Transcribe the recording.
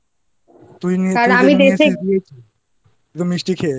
তুই নিয়ে এসে দিয়েছিস?